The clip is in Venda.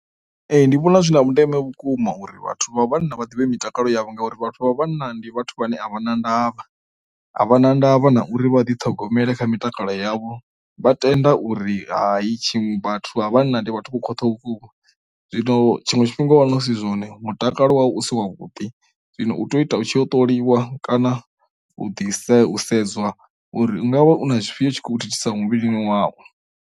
Ee ndi vhona zwi na vhundeme vhukuma uri vhathu vha vhana vha ḓivhe mitakalo yavho ngauri vhathu vha vhanna ndi vhathu vhane a vha na ndavha, a vha na ndavha na uri vha ḓi ṱhogomeli mitakalo yavho vha tenda uri hai tshi vhathu a vha vhanna ndi vhathu vho khwaṱhaho vhukuma. Zwino tshiṅwe tshifhinga wa no si zwone mutakalo wau u si wa vhuḓi zwino u tea u ita u tshi u ṱoliwa kana u ḓi sei u sedzwa uri ungavha u na tshifhio thithisa muvhilini wau.